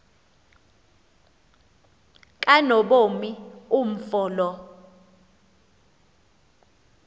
kanobomi umfo lo